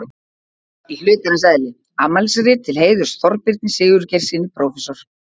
Í hlutarins eðli: Afmælisrit til heiðurs Þorbirni Sigurgeirssyni prófessor.